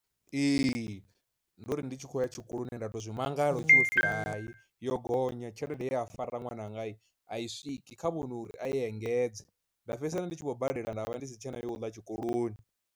Ee, ndo ri ndi tshi khou ya tshikoloni nda to zwi mangala hu thi vhopfhi hayi yo gonya tshelede ye a fara ṅwananga a i swiki kha vhono uri i engedze, nda fhedzisela ndi tshi khou badela nda vha ndi si tshena yo uḽa tshikoloni.